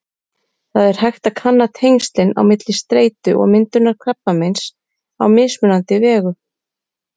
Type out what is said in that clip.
Það er hægt að kanna tengslin á milli streitu og myndunar krabbameins á mismunandi vegu.